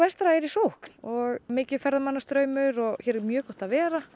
vestra er í sókn og mikill ferðamannastraumur og hér er mjög gott að vera